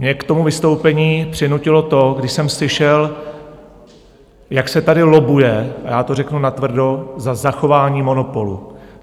Mě k tomu vystoupení přinutilo to, když jsem slyšel, jak se tady lobbuje - a já to řeknu natvrdo - za zachování monopolu.